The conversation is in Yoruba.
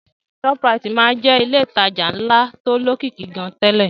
Shoprite máa ń jẹ́ ilé ìtajà ńlá tó lókìkí gan-an tẹ́lẹ̀